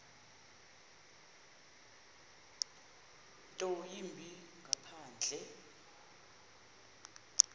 nto yimbi ngaphandle